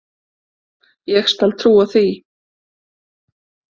Ég skal trúa því.